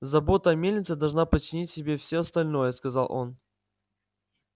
забота о мельнице должна подчинить себе все остальное сказал он